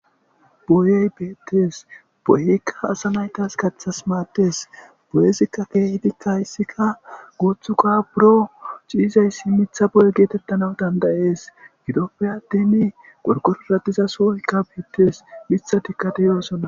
Boyey beettes boyekka asa naytas kaththas maates boyesikka keehetikka hayssika goothuka buro ciizayssi mitha boye geetettana dandayees gidoppe adtini gorkororadiza sooykka beettes mitha tikkateyoasonna.